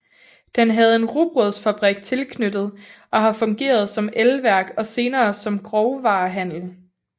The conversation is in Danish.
Den havde en rugbrødsfabrik tilknyttet og har fungeret som elværk og senere som grovvarehandel